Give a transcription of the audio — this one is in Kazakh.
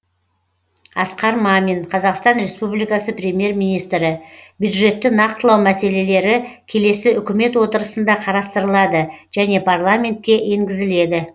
асқар мамин қазақстан республикасы премьер министрі бюджетті нақтылау мәселелері келесі үкімет отырысында қарастырылады және парламентке енгізіледі